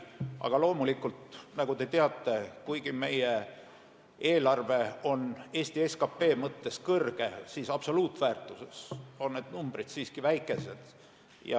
Aga loomulikult, nagu te teate, kuigi meie eelarve on Eesti SKT mõttes suur, siis absoluutväärtuses on numbrid siiski väikesed.